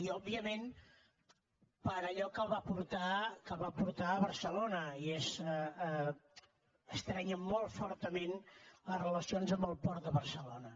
i òbviament per allò que el va portar a barcelona i és estrènyer molt fortament les relacions amb el port de barcelona